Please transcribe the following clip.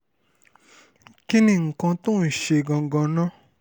kí ni nǹkan tó ń ṣe é gangan náà